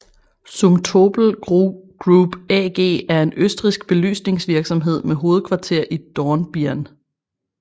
Zumtobel Group AG er en østrigsk belysningsvirksomhed med hovedkvarter i Dornbirn